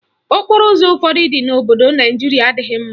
Okporoụzọ ụfọdụ dị n'obodo Naijiria adịghị mma.